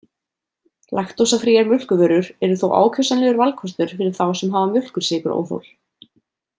Laktósafríar mjólkurvörur eru þó ákjósanlegur valkostur fyrir þá sem hafa mjólkursykuróþol.